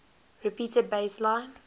repeated bass line